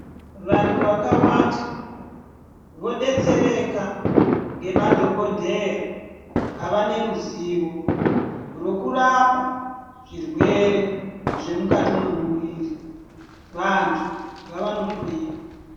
Vantu vakawanda vodetsereka ngemadhokodheya ava neruzivo rwekurapa zvirwere zvemukati mwemuwiri. Vantu ngavanohloyiwa.